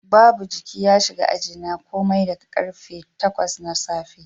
Babu jiki ya shiga ajina komai daga karfe 8 na safe